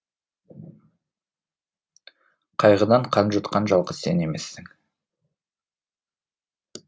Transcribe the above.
қайғыдан қан жұтқан жалғыз сен емессің